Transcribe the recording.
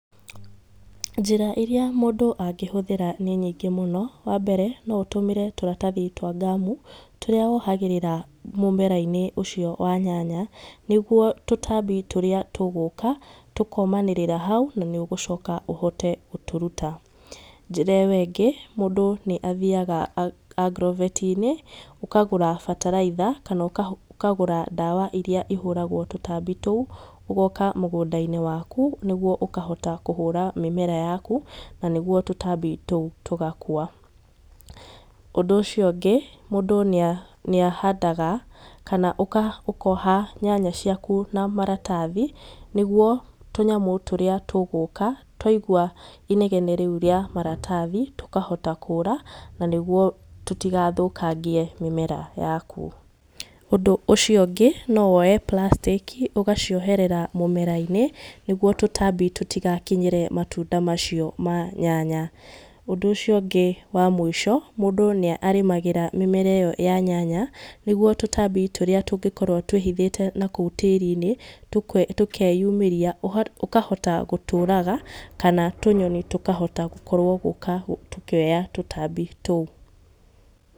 Njĩra iria mũndũ angĩhũthĩra nĩ nyĩngĩ mũno. Wambere, no ũtũmĩre tũratathi twa ngaamũ tũrĩa wohagĩrĩra mũmerainĩ ũcio wa nyanya nĩguo tutambi tũrĩa tũgũka tũkomanĩrĩra hau na nĩ ũgũcoka ũhote gũtũrũta. Njĩra ĩyo ĩngĩ, mũndũ nĩ athiaga agrobeti-inĩ, ũkagũra bataraitha kana ũkagũra ndaawa iria ĩhũragwo tũtambi tũu, ũgoka mũgũndainĩ waku nĩguo ũkahota kũhũra mĩmera yaku na nĩguo tũtambi tũu tũgakua. Ũndũ ũcio ũngĩ, mũndũ nĩahandaga kana ũkoha nyanya ciaku na maratathi nĩguo tũnyamũ tũrĩa tũgũka twaigua inegene rĩu rĩa maratathi tũkahota kũũra na nĩguo tũtigathũkagie mĩmera yaku. Ũndũ ũcio ũngĩ , no woe Prastĩki ũgacioherera mũmerainĩ nĩguo tũtambi tũtigakinyĩre matunda macio ma nyanya. Ũndũ ũcio ngi wa mũico, mũndũ nĩ arĩmagĩra mĩnera ĩyo ya nyanya nĩguo tũtambi tũrĩa tũngĩkorwo twĩhithĩte nakũu tĩĩrini tũkeyumĩria ũkahota gũtũũraga kana tũnyoni tũkahota gũkorwo gũka tũkĩoya tũtambi tũu.